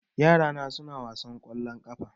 Yara na suna wasan ƙwallon ƙafa